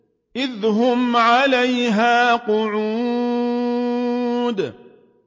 إِذْ هُمْ عَلَيْهَا قُعُودٌ